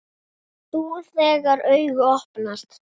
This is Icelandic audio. Þú, þegar augu opnast.